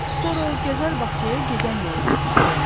Sonra o gözəl bağçaya gedən yolu tapmalıyam.